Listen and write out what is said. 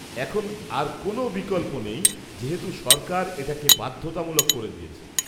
এখন আর কোনও বিকল্প নেই যেহেতু সরকার এটাকে বাধ্যতামুলক করে দিয়েছে।